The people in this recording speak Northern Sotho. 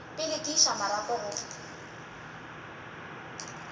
pele ke iša marapo go